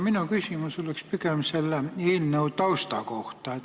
Minu küsimus on pigem selle eelnõu tausta kohta.